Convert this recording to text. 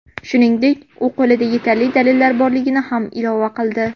Shuningdek, u qo‘lida yetarli dalillar borligini ham ilova qildi.